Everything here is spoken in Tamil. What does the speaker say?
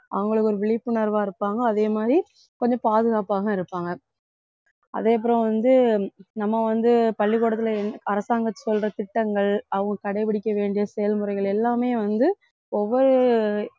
அவங்களுக்கு ஒரு விழிப்புணர்வாக இருப்பாங்க அதே மாதிரி கொஞ்சம் பாதுகாப்பாகவும் இருப்பாங்க அதுக்கப்புறம் வந்து நம்ம வந்து பள்ளிக்கூடத்துல அரசாங்கம் சொல்ற திட்டங்கள் அவங்க கடைப்பிடிக்க வேண்டிய செயல்முறைகள் எல்லாமே வந்து ஒவ்வொரு